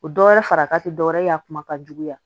O dɔ wɛrɛ fara ka dɔwɛrɛ ye a kuma ka juguya